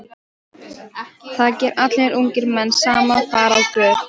Það gera allir ungir menn sem fara á böll.